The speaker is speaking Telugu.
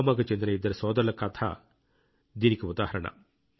పుల్వామాకు చెందిన ఇద్దరు సోదరుల కథ కూడా దీనికి ఉదాహరణ